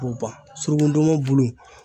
B'o ban suruku ndɔnmɔn bulu